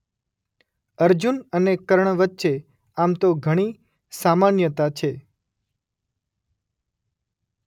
અર્જુન અને કર્ણ વચ્ચે આમ તો ઘણી સામાન્યતા છે.